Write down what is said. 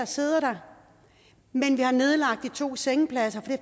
sidder der men vi har nedlagt de to sengepladser